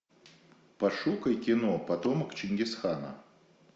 пошукай кино потомок чингисхана